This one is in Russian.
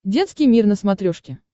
детский мир на смотрешке